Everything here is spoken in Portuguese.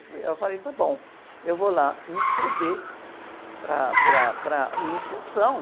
Eu falei, eh, eu falei, tá bom, eu vou lá me inscrever para a, para a, para a iniciação.